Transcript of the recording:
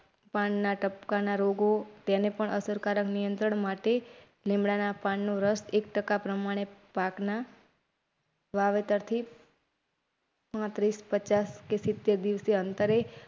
પાનના ટપકાના રોગો તેને પણ અસરકારક નિયંત્રણ માટે લીમડાના પાનનો રસ એક ટકા પ્રમાણે પાક ના વાવેતર થી પાંત્રીસ પચાસ કે સીતેર દીવસે અંતરે